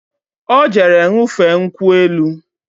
Ọ jere ṅụfee nkwụ elu